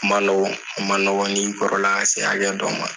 A ma nɔgɔn a ma nɔgɔn n'i kɔrɔla ka se hakɛ dɔ ma